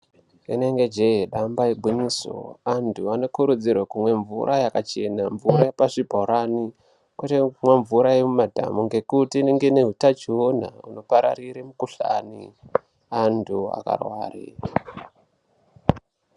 Rinenge jee damba igwinyiso, antu anokurudzirwa kumwe mvura yakachena mvura yepazvibhorani kwete kumwa mvura yemumadhamu ngekuti inenge ine hutachiona hunopararire mikuhlani antu akarware.